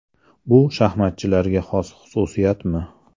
Bu shaxmatchilarga xos xususiyatmi?